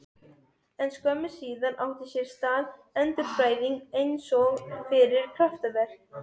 En skömmu síðar átti sér stað endurfæðing einsog fyrir kraftaverk.